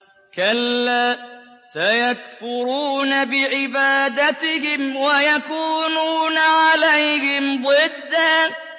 كَلَّا ۚ سَيَكْفُرُونَ بِعِبَادَتِهِمْ وَيَكُونُونَ عَلَيْهِمْ ضِدًّا